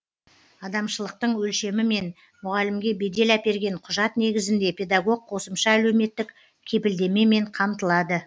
адамшылықтың өлшемімен мұғалімге бедел әперген құжат негізінде педагог қосымша әлеуметтік кепілдемемен қамтылады